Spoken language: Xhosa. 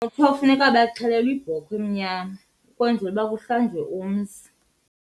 Kuyofuneka baxhelelwe ibhokhwe emnyama ukwenzela uba kuhlanjwe umzi.